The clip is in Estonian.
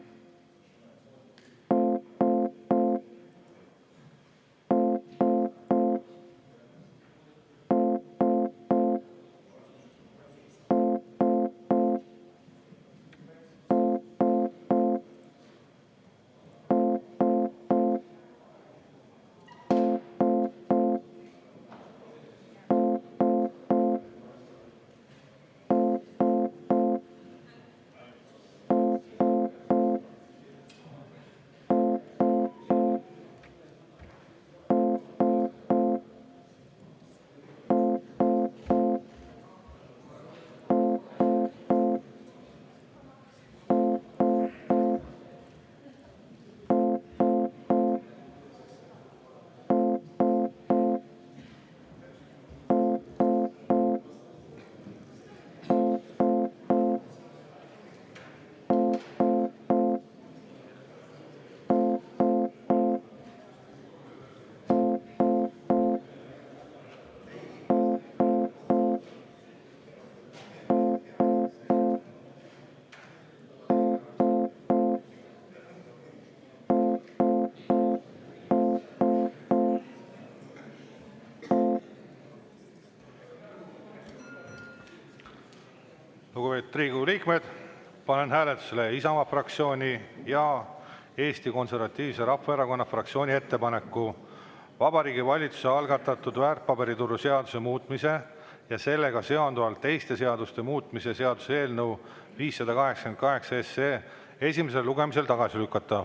Lugupeetud Riigikogu liikmed, panen hääletusele Isamaa fraktsiooni ja Eesti Konservatiivse Rahvaerakonna fraktsiooni ettepaneku Vabariigi Valitsuse algatatud väärtpaberituru seaduse muutmise ja sellega seonduvalt teiste seaduste muutmise seaduse eelnõu 588 esimesel lugemisel tagasi lükata.